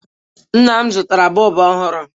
Nna m zụtara bọlbụ ọhụrụ.